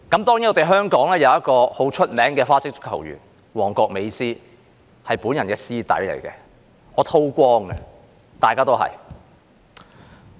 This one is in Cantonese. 當然，香港有一位很有名的花式足球員——"旺角美斯"，他是我的師弟，我是叨光的，大家都一樣。